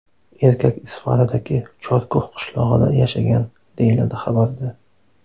Erkak Isfaradagi Chorkux qishlog‘ida yashagan, deyiladi xabarda.